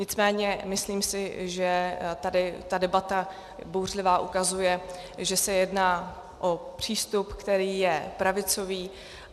Nicméně myslím si, že tady ta debata, bouřlivá, ukazuje, že se jedná o přístup, který je pravicový.